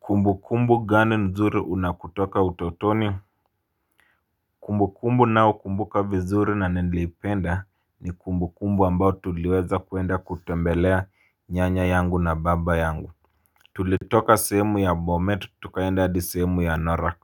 Kumbukumbu gani nzuri una kutoka utotoni. Kumbukumbu nao kumbuka vizuri na nilipenda ni kumbukumbu ambao tuliweza kuenda kutembelea nyanya yangu na baba yangu. Tulitoka sehemu ya Bomet tukaenda hadi sehemu ya norak.